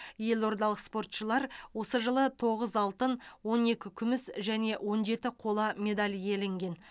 елордалық спортшылар осы жылы тоғыз алтын он екі күміс және он жеті қола медаль иеленген